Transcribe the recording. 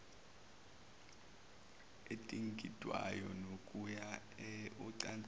edingidwayo nokuya ocansini